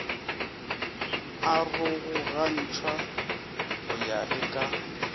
arogogantšwe go ya le ka